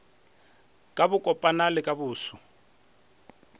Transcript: ka bokopana le ka boso